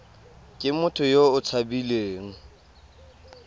ke motho yo o tshabileng